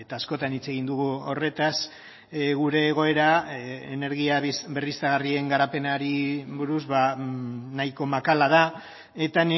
askotan hitz egin dugu horretaz gure egoera energia berriztagarrien garapenari buruz nahiko makala da eta